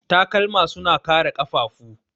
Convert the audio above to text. Takalma suna kare ƙafafu.